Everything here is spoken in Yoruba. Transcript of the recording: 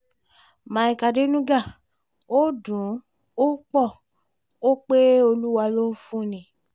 míkè àdènúgá ò dùn ọ́ pọ̀ ọ́ pé olúwa ló ń fún ni